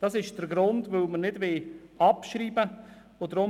Das ist der Grund, weshalb wir die Motion nicht abschreiben wollen.